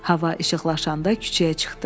Hava işıqlaşanda küçəyə çıxdı.